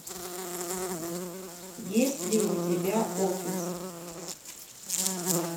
есть ли у тебя офис